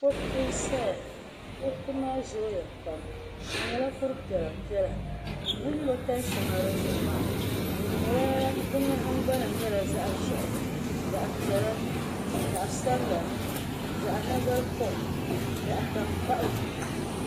Kuriti n saya kuriti maa zooya pam di nyɛla kuri piɛla piɛla bini lo tanshɛŋa di zuɣu maa fi nahingbana nyɛla zaɣa ʒehi zaɣa piɛla zaɣa sabla zaɣa nagari kom zaɣa tankpaɣu.